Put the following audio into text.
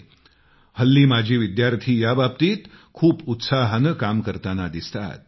आजकाल माजी विद्यार्थी याबाबतीत खूप उत्साहानं काम करतांना दिसतात